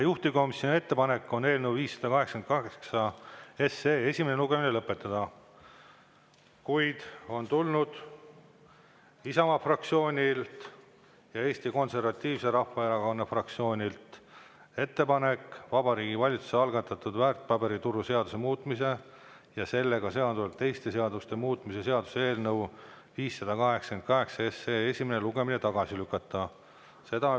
Juhtivkomisjoni ettepanek on eelnõu 588 esimene lugemine lõpetada, kuid on tulnud ettepanek Isamaa fraktsioonilt ja Eesti Konservatiivse Rahvaerakonna fraktsioonilt Vabariigi Valitsuse algatatud väärtpaberituru seaduse muutmise ja sellega seonduvalt teiste seaduste muutmise seaduse eelnõu 588 esimesel lugemisel tagasi lükata.